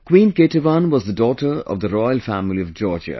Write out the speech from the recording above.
Queen Ketevan was the daughter of the royal family of Georgia